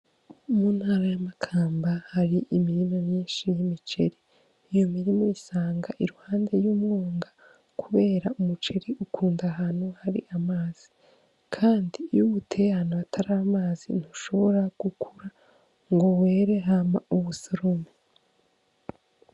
Mu ntara ya Makamba hari imirima myinshi y'imiceri, iyo mirima usanga iruhande y'umwonga, kubera umuceri ukunda ahantu hari amazi kandi iyo uwuteye ahantu hataramazi ntushobora gukura ngo were hama uwusorome.